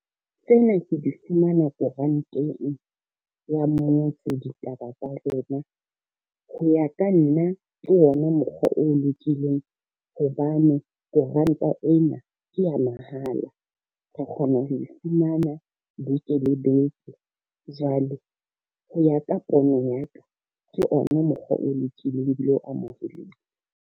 Tsena ke di fumana koranteng ya mmotse ditaba tsa rona. Ho ya ka nna ke ona mokgwa o lokileng hobane koranta e na ke a mahala, re kgona ho e fumana beke le beke. Jwale ho ya ka pono ya ka, ke ona mokgwa o lokileng ebile o amoheleile.